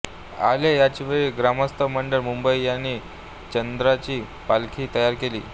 आले याचवेळी ग्रामस्थ मंडळ मुंबई यांनी चांदीची पालखी तयार केली